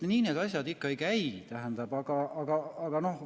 Nii need asjad ikka ei käi!